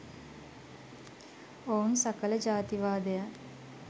ඔවුන් සකල ජාතිවාදයන්